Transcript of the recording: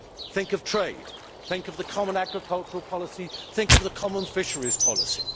Think of trade, think of the common agricultural policy, think of the common fisheries policy.